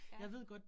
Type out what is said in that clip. Ja